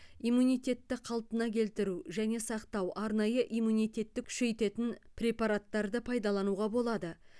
иммунитетті қалпына келтіру және сақтау арнайы иммунитетті күшейтетін препараттарды пайдалануға болады